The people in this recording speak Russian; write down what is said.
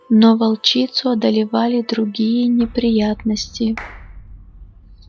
но волчицу одолевали другие неприятности